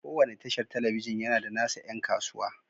Kowane tashar talabijin yana da nasa 'yan kasuwa.